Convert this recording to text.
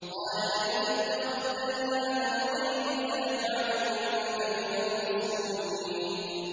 قَالَ لَئِنِ اتَّخَذْتَ إِلَٰهًا غَيْرِي لَأَجْعَلَنَّكَ مِنَ الْمَسْجُونِينَ